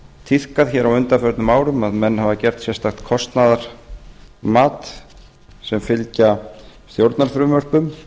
tíðkað hér á undanförnum árum að menn hafa gert sérstakt kostnaðarmat sem fylgja stjórnarfrumvörpum